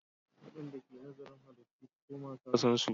Waɗanda ke nazarin halittu su koma sassansu.